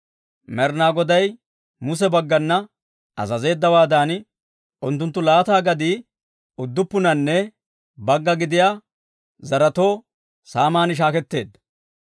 Med'ina Goday Muse baggana azazeeddawaadan, unttunttu laata gadii udduppunanne bagga gidiyaa zaretoo saaman shaaketteedda.